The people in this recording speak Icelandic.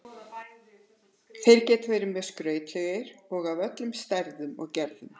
Þeir geta verið mjög skrautlegir og af öllum stærðum og gerðum.